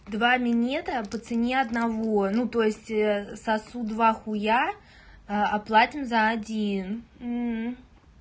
два минета по цене одного ну то есть сосут два хуя а а платим за один